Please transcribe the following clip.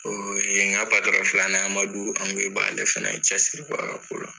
O ye n ka filanan ye. Amadu Angoyiba ale fana ye cɛsiri bɔ a ka ko la.